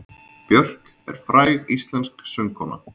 Björk er fræg íslensk söngkona.